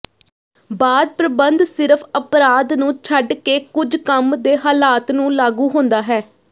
ਬਾਅਦ ਪ੍ਰਬੰਧ ਸਿਰਫ ਅਪਰਾਧ ਨੂੰ ਛੱਡ ਕੇ ਕੁਝ ਕੰਮ ਦੇ ਹਾਲਾਤ ਨੂੰ ਲਾਗੂ ਹੁੰਦਾ ਹੈ